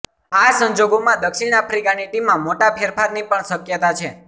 આ સંજોગોમાં દક્ષિણ આફ્રિકાની ટીમમાં મોટા ફેરફારની પણ શક્યતા છે